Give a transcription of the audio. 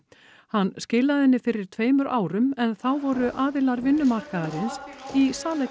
hann skilaði henni fyrir tveimur árum en þá voru aðilar vinnumarkaðarins í